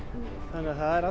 þannig það er